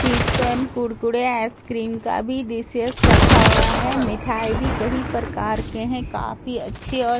chips and Kurkure ice cream का भी dishes रखा हुआ है मिठाई भी कई प्रकार के है काफी अच्छे और डिलिशियस --